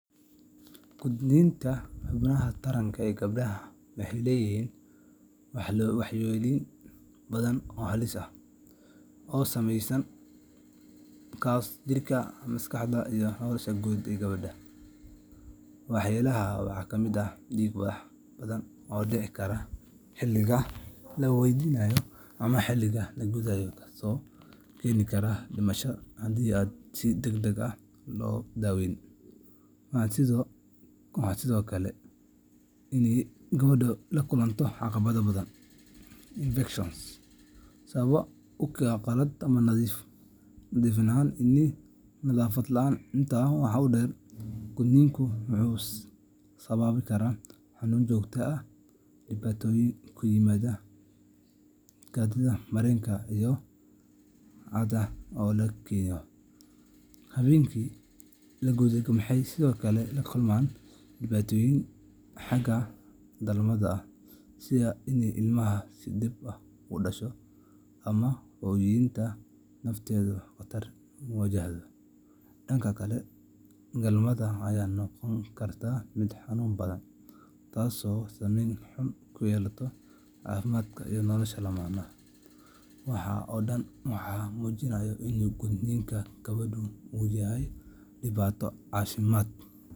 Qoditaanka xubinta taranka ee gabdhaha waxay leedahay waxyeelooyin badan oo halis ah oo saameeya jirka, maskaxda, iyo nolosha guud ee gabadha. Waxyeeladaasi waxaa ka mid ah dhiig bax badan oo dhici kara xilliga la gudayo, kaasoo keeni kara dhimasho haddii aan si degdeg ah loo daaweyn. Waxaa sidoo kale dhici karta in gabadhu la kulanto caabuqyo daran infection sabab u ah qalab aan nadiif ahayn iyo nadaafad la’aan. Intaa waxaa dheer, gudniinku wuxuu sababi karaa xanuun joogto ah, dhibaatooyin ku yimaada kaadi-mareenka iyo caadada dhiigga, taasoo adkeyneysa in si caadi ah loo kaadiyo ama loo helo caado bil ah. Haweenka la guday waxay sidoo kale la kulmaan dhibaatooyin xagga dhalmada ah, sida in ilmaha si dhib ah ku dhasho ama hooyada lafteedu khatar wajahdo. Dhanka kale, galmada ayaa noqon karta mid xanuun badan, taasoo saameyn xun ku yeelata caafimaadka iyo nolosha lamaanaha. Waxaas oo dhan waxay muujinayaan in gudniinka gabdhuhu uu yahay dhibaato caafimaad iyo bulsho oo weyn.